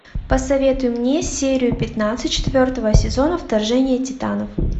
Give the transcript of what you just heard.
посоветуй мне серию пятнадцать четвертого сезона вторжение титанов